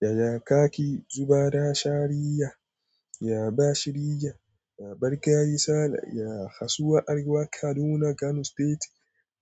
Ya kaki zuba da shariya, ya bashi rija, ya bar kaya yi sale, ya kasuwa Argungun Kaduna Kano State,